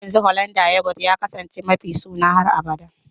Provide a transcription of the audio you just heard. Har yanzu Hollanda yoghurt ya kasance mafi sona har abada